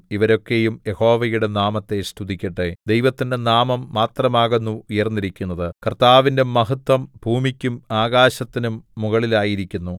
ഇവരൊക്കയും യഹോവയുടെ നാമത്തെ സ്തുതിക്കട്ടെ ദൈവത്തിന്റെ നാമം മാത്രമാകുന്നു ഉയർന്നിരിക്കുന്നത് കർത്താവിന്റെ മഹത്വം ഭൂമിക്കും ആകാശത്തിനും മുകളിലായിരിക്കുന്നു